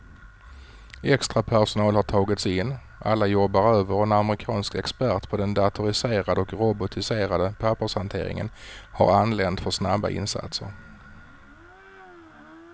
Extrapersonal har tagits in, alla jobbar över och en amerikansk expert på den datoriserade och robotiserade pappershanteringen har anlänt för snabba insatser.